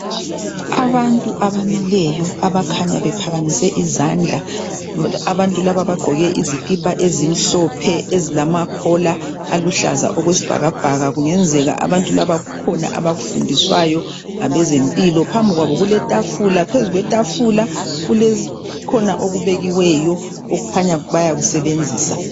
Abantu abamileyo abakhanya bephakamise izandla. Abantu laba bagqoke izikipw ezimhlophe ezilamakhola aluhlaza okwesibhakabhaka. Kungenzeka abantu laba kukhona abakufundiswayo ngabezempilo. Phambi kwabo kuletafula. Phezu kwetafula kukhona okubekiweyo okukhanya bayakusebenzisa.